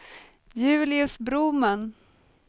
Julius Broman